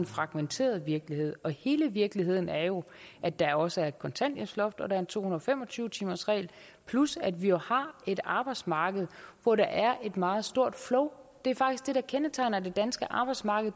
fragmenteret virkelighed og hele virkeligheden er jo at der også er et kontanthjælpsloft og en to hundrede og fem og tyve timersregel plus at vi jo har et arbejdsmarked hvor der er et meget stort flow det er faktisk det der kendetegner det danske arbejdsmarked